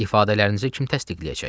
İfadələrinizi kim təsdiqləyəcək?